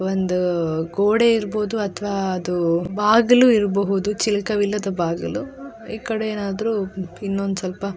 ಒಂದು ಗೋಡೆ ಇರ್ಬಹುದು ಅಥವಾ ಅದು ಬಾಗಿಲು ಇರ್ಬಹುದು ಚಿಲಕ ವಿಲ್ಲದ ಬಾಗಿಲು ಈ ಕಡೆ ಏನಾದ್ರು ಇನ್ನೊಂದು ಸ್ವಲ್ಪ --